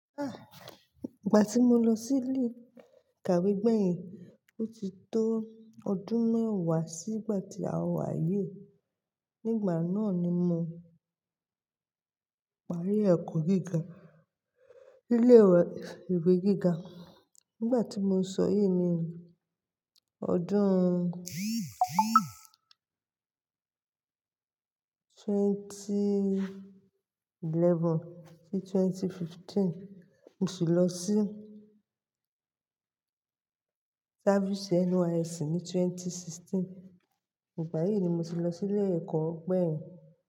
Ah! Ìgbà tí mo lọ sí ilé ìkàwé gbẹ̀yìn, ó ti tó ọdún mẹ́wàá sí ìgbà tí a wá ayé. Nígbà náà ni mo parí ẹ̀kọ́ gíga, ilé ìwé gíga. Nígbà tí mo sọ yìí ni ọdún ẹgbẹ̀rún méjì ó lé mọ́kànlá sí ẹgbẹ̀rún méjì ó lé ẹ̀ẹ́dógún. Mo sì lọ sí táfìsì NYSC ní ẹgbẹ̀rún méjì ó lé mẹ́rìndínlógún. Nígbà yí ni mo ti lọ sí ilé ẹ̀kọ́ gbẹ̀yìn.